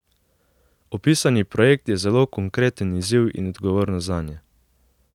Opisani projekt je zelo konkreten izziv in odgovornost zanje.